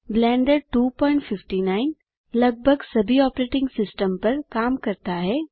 blender 259 लगभग सभी operating systems पर काम करता है